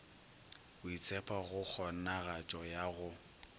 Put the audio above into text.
boitshepho go kgonagatšo ya go